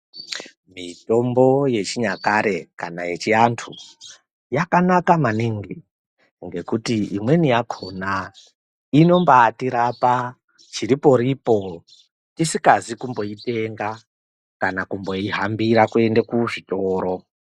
Mitombo yechinyakare kana yechiantu yakanaka maningi ngekuti imweni yakona inombaatirapa chiriporipo tisingazi kumboitenga kana kumboihambira kuende kuzvitoro.